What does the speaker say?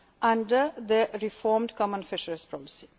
single stock plans under the reformed common